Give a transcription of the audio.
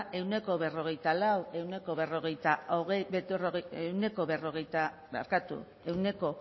ehuneko berrogeita lautik ehuneko